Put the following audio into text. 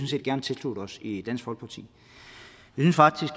set gerne tilslutte os i dansk folkeparti